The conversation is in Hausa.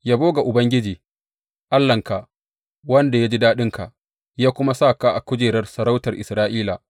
Yabo ga Ubangiji Allahnka, wanda ya ji daɗinka, ya kuma sa ka a kujerar sarautar Isra’ila.